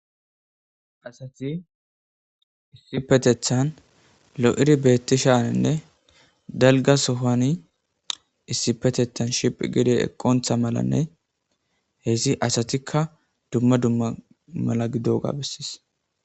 Asathi issippetheththan lo7idi beeththishaaninne dalgga sohuwaani issippetheththan shiphphi giidi eqqonththa malanne heyssi asathikka dumma dumma mala gidoogaa besses.